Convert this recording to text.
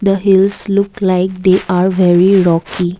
the hills look like they are very rocky.